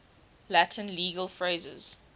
latin legal phrases